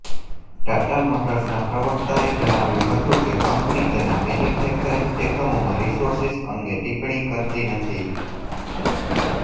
ટાટા મોટર્સના પ્રવક્તાએ જણાવ્યું હતું કે કંપની તેના મેન્યુફેક્ચરિંગ એકમોમાં રિસોર્સિસ અંગે ટિપ્પણી કરતી નથી